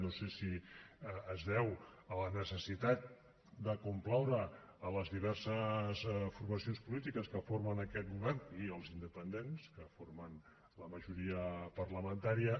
no sé si es deu a la necessitat de complaure les diverses formacions polítiques que formen aquest govern i els independents que formen la majoria parlamentària